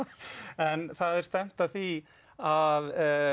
en það er stefnt að því að